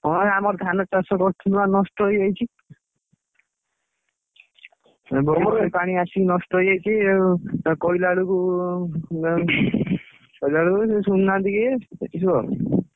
ହଁ ରେ ଆମର ଧାନ ଚାଷ କରିଥିଲୁ ଆମର ନଷ୍ଟ ହେଇଯାଇଛି। opverlap ପାଣି ଆସିକି ନଷ୍ଟ ହେଇଯାଇଛି ଆଉ ଆଉ କହିଲା ବେଳକୁ କହିଲା ବେଳକୁ ବି ଶୁଣୁ ନାହାନ୍ତି କିଏ ଏଇ ସବୁ ଆଉ।